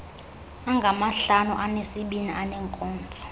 angamahlanu anesibini aneenkonzo